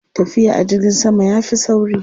Tafiya a jirgin sama ya fi sauri.